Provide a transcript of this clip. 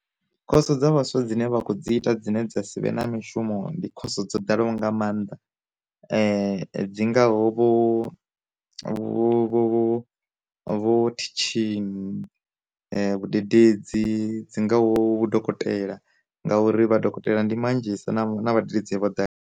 Khoso dza vhaswa dzine vha kho dzi ita dzine dza sivhe na mishumo ndi khoso dzo ḓalaho nga maanḓa, dzi ngaho vho vho vho teaching, vhu dededzi, dzi ngaho vhudokotela, ngauri vha dokotela ndi manzhi sa na vhadededzi vho ḓale.